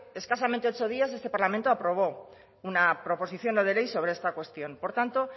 escasamente ocho días este parlamento aprobó una proposición no de ley sobre esta cuestión por tanto